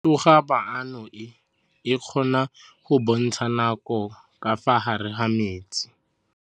Toga-maanô e, e kgona go bontsha nakô ka fa gare ga metsi.